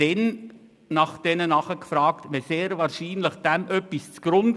Wenn nach Ausweisen gefragt wird, liegt doch dem sehr wahrscheinlich irgendetwas zugrunde.